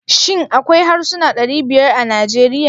Shin akwai harsuna ɗari biyar a Najeriya?